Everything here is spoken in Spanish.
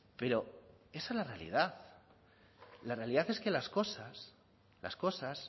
pero esa es la realidad la realidad es que las cosas las cosas